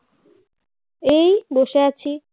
এই বসে আছি